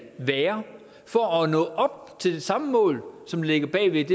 være for at nå det samme mål som ligger bag ved